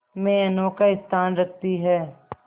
में अनोखा स्थान रखती है